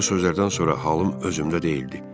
Bu sözlərdən sonra halım özümdə deyildi.